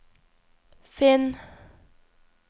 finn